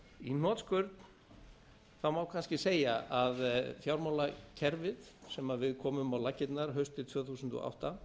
í hnotskurn má kannski segja að fjármálakerfið sem við komum á laggirnar haustið tvö þúsund og átta